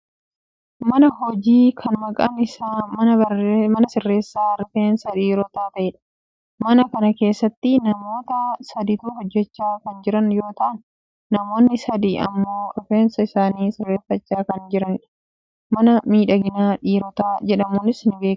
mana hojii kan maqan isaa mana sirreessa rifeensa dhiirotaa ta'edha. mana kana keessatti namoota saditu hojjachaa kan jiran yoo ta'an , namoonni sadi ammmoo rifeensa isaanii sirreeffachaa kan jiranidha. mana miidhagina dhiirotaa jedhamuunis ni beekkama.